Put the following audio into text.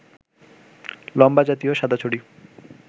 লম্বা জাতীয় সাদা ছড়ি